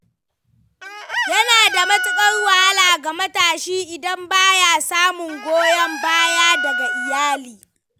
Yana da matukar wahala ga matashi idan ba ya samun goyon baya daga iyali.